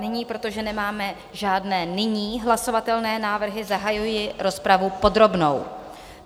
Nyní, protože nemáme žádné nyní hlasovatelné návrhy, zahajuji rozpravu podrobnou.